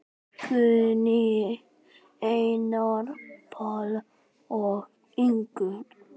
Guðný, Einar, Páll og Ingunn.